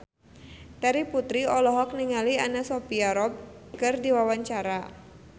Terry Putri olohok ningali Anna Sophia Robb keur diwawancara